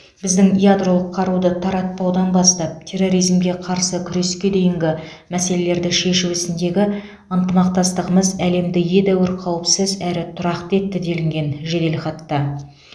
біздің ядролық қаруды таратпаудан бастап терроризмге қарсы күреске дейінгі мәселелерді шешу ісіндегі ынтымақтастығымыз әлемді едәуір қауіпсіз әрі тұрақты етті делінген жеделхатта